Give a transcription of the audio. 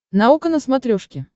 наука на смотрешке